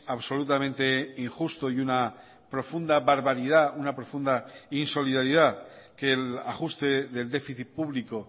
absolutamente injusto y una profunda barbaridad una profunda insolidaridad que el ajuste del déficit público